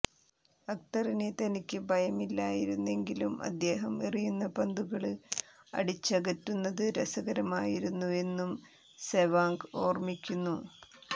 അക്തറിനെ തനിക്ക് ഭയമായിരുന്നെങ്കിലും അദ്ദേഹം എറിയുന്ന പന്തുകള് അടിച്ചകറ്റുന്നത് രസകരമായിരുന്നുവെന്നും സെവാഗ് ഓര്മിക്കുന്നു